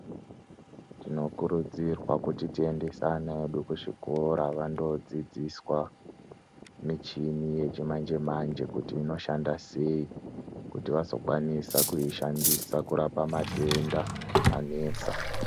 Tinokurudzirwa kuti tiendesane hedu kuzvikora vandodzidziswa michini yechimanjemanje kuti inoshanda sei, kuti vazokwanisa kuyishandisa kurapa madenda anesa.